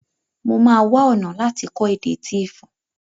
Mo máa wá ọ̀nà láti kọ́ èdè Tíífù